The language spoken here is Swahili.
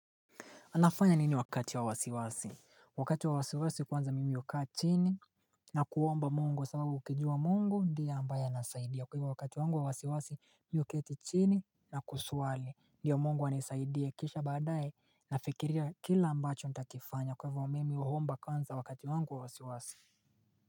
Anafanya nini wakati wa wasiwasi? Wakati wa wasiwasi kwanza mimi hukaa chini na kuomba mungu kwa sababu ukijua mungu ndiye ambaye anasaidia kwa hivyo wakati wangu wa wasiwasi mimi huketi chini na kusali, ndiyo mungu anisaidie kisha baadaye nafikiria kila ambacho nitakifanya kwa hivyo mimi huomba kwanza wakati wangu wa wasiwasi.